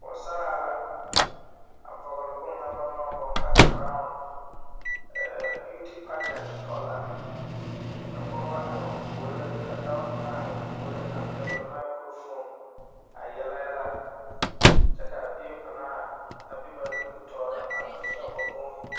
Poosaraa la a vɔgle bon ŋa baŋ maŋ bõɔ ka krawn biiute pagyant tɔ la ka pogeba aihi o puoriŋ ka dao kaŋa are o puoriŋ pɛgle maakrofon a yele yɛlɛ kyɛ kaa bie panaa a be ba nimibitooreŋ a vèèhe o nuuhi.